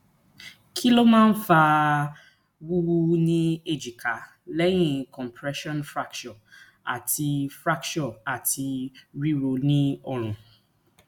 kí ló máa ń fa wuwu ni ejika lẹyìn compression fracture ati fracture ati riro ni orun